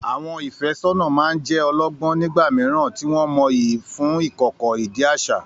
Àwọn ìfẹ́sọ́nà máa ń jẹ́ ọlọ́gbọ́n nígbà mìíràn, tí wọ́n mọyì fún ìkọ̀kọ̀, ìdí àṣà.